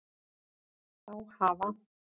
Þá hafa